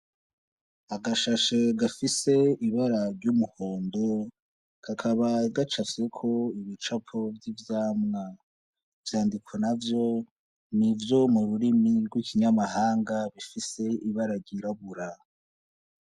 Agashashe gafise ibara ry'umuhondo, kakaba gacafyeko igicapo c'ivyamwa. Ivyandiko navyo ni ivyo mu rurimi rw'ikinyamahanga gifise ibara ryirabura.